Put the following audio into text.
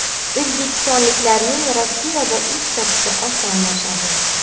O‘zbekistonliklarning Rossiyada ish topishi osonlashadi.